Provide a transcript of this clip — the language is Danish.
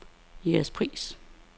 Jægerspris